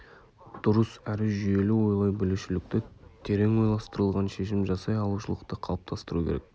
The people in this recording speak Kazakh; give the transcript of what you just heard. дұрыс әрі жүйелі ойлай білушілікті терең ойластырылған шешім жасай алушылықты қалыптастыру керек